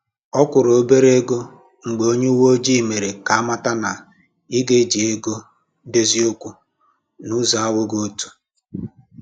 Ọ kwụrụ̀ obere égo mgbe onye uweojii mere ka amata na ị ga eji ego dozie okwu na ụzọ anwụghị ọtọ